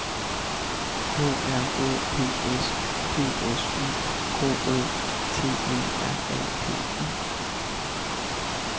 K R O P S P S Y K O T E R A P I